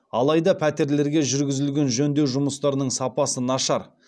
алайда пәтерлерге жүргізілген жөндеу жұмыстарының сапасы нашар